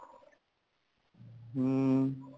ਹਮ